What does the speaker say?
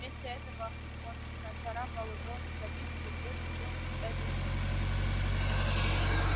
вместе этого он нацарапал рону записку в лес идём с этой ночью у